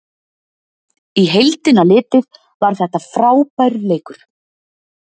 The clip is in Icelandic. Í heildina litið var þetta frábær leikur.